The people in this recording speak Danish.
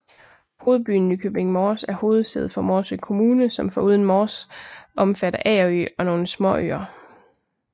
Hovedbyen Nykøbing Mors er hovedsæde for Morsø Kommune som foruden Mors omfatter Agerø og nogle småøer